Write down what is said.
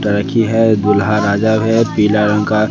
लड़की है दूल्हा राजा है पीला रंग का।